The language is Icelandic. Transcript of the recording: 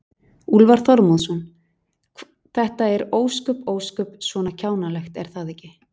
Úlfar Þormóðsson: Þetta er ósköp, ósköp svona kjánalegt, er það ekki?